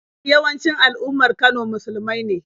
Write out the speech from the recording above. Mafi yawancin al'ummar Kano musulmai ne.